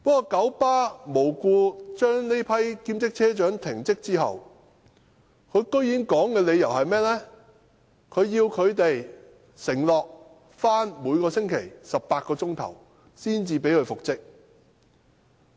九巴無故把這批兼職車長停職後，竟然要求他們承諾每星期工作18小時才讓他們復職。